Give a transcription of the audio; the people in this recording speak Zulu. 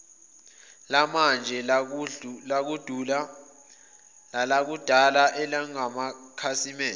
lamanje nelakudala elingamakhasimende